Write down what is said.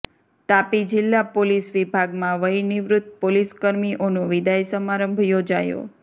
તાપી જિલ્લા પોલીસ વિભાગમાં વયનિવૃત પોલીસકર્મીઓનું વિદાય સમારંભ યોજાયો